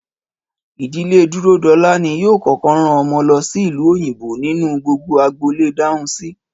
Ìdílé Dúródolá ni yóò kókó rán omo lo sí ìlú òyìnbó nínú gbogbo agboolé Dáhùnsi